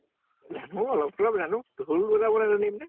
জানো। অলপ চলপ জানো। ঢোল বজাবলৈ নাজানিম নে?